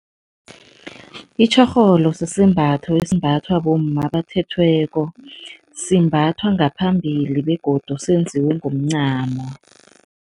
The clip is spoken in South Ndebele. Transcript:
Itjorholo sisembatho esimbathwa bomma abathethweko, simbathwa ngaphambili begodu senziwe ngomncamo.